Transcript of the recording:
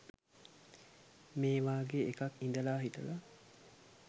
මේ වගේ එකක් ඉදලා හිටලා